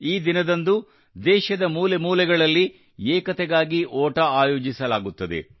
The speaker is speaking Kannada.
ಈ ದಿನದಂದು ದೇಶದ ಮೂಲೆ ಮೂಲೆಯಲ್ಲಿ ಏಕತೆಗಾಗಿ ಓಟ ಆಯೋಜಿಸಲಾಗುತ್ತದೆ